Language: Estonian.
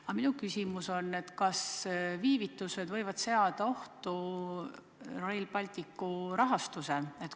Aga minu küsimus on järgmine: kas viivitused võivad seada ohtu Rail Balticu rahastamise?